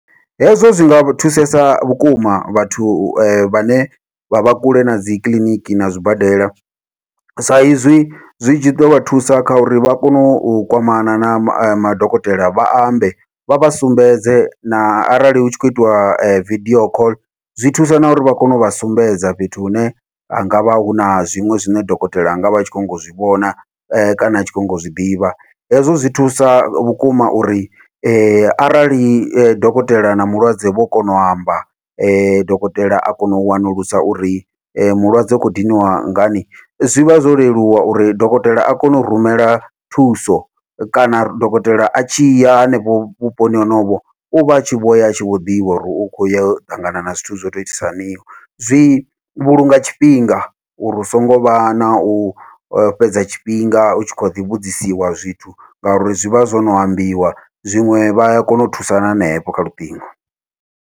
Hezwo zwi nga thusesa vhukuma vhathu vhane vha vha kule na dzikiḽiniki na zwibadela, sa izwi zwi tshi dovha thusa kha uri vha kone u kwamana na madokotela vha ambe vha vha sumbedze na arali hu tshi khou itiwa vidio call, zwi thusa na uri vha kone uvha sumbedza fhethu hune ha ngavha huna zwiṅwe zwine dokotela anga vha tshi khou nyanga u zwi vhona kana a tshi khou nyanga u zwiḓivha. Hezwo zwi thusa vhukuma uri arali dokotela na mulwadze vho kona u amba dokotela a kono u wanulusa uri mulwadze u khou diniwa ngani, zwivha zwo leluwa uri dokotela a kone u rumela thuso kana dokotela a tshi ya hanefho vhuponi honovho uvha atshi vhoya atshi vho ḓivha uri u khou ya u ṱangana na zwithu zwo to u itisa haniho, zwi vhulunga tshifhinga uri hu songo vha nau fhedza tshifhinga u tshi khaḓi vhudzisiwa zwithu ngauri zwi vha zwo no ambiwa, zwiṅwe vhaya kona u thusana hanefho kha luṱingo.